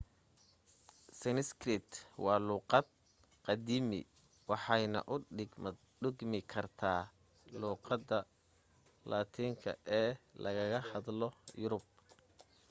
sanskrit waa luuqad qadiiimi waxayna u dhigmi kartaa luuqadda laatinka ee lagaga hadlo yurub